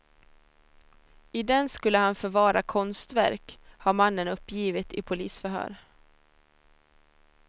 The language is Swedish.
I den skulle han förvara konstverk, har mannen uppgivit i polisförhör.